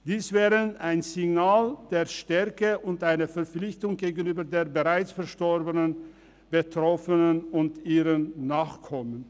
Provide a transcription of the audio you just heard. Das wäre ein Signal der Stärke sowie eine Verpflichtung gegenüber den bereits verstorbenen Betroffenen und ihren Nachkommen.